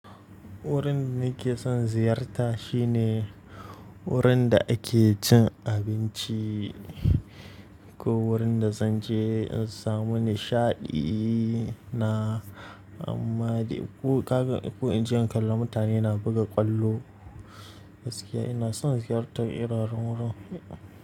Wurin da nake son ziyarta shine wurin da ake cin abinci ko wurin da zan je in samu nishaɗi na. Amma dai ko in je in kalla mutane na buga ƙwallo gaskiya ina son ziyartar irin wurin.